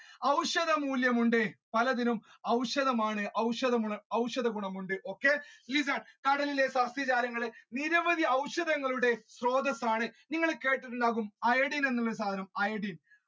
ഔഷധ മൂല്യമുണ്ട് പലതിനും ഔഷധമാണ് ഔഷധ ഗുണ~ഔഷധ ഗുണമുണ്ട് okay listen കടലിലെ സസ്യജാലങ്ങള് നിരവധി ഔഷധങ്ങളുടെ സ്രോതസ്സാണ്നിങ്ങൾ കേട്ടിട്ടുണ്ടാവും iodine എന്നുള്ള സാധനം iodine